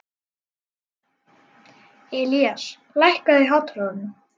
Ilías, hækkaðu í hátalaranum.